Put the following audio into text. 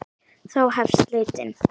Þá hefst leitin.